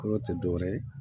Kolo tɛ dɔwɛrɛ ye